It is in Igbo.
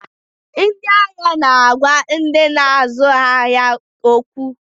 Ndị ahịa na agwa ndị na azụ ahịa ha okwu